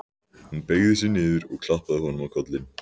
Hún beygði sig niður og klappaði honum á kollinn.